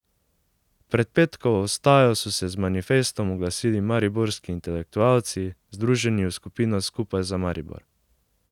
Pred petkovo vstajo so se z manifestom oglasili mariborski intelektualci, združeni v skupino Skupaj za Maribor.